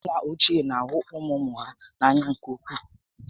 Ndị nna ochie na ahụ ụmụ ụmụ ha n'anya nke ukwuu